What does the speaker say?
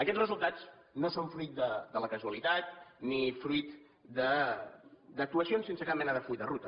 aquests resultats no són fruit de la casualitat ni fruit d’actuacions sense cap mena de full de ruta